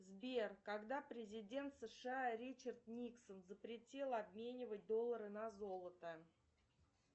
сбер когда президент сша ричард никсон запретил обменивать доллары на золото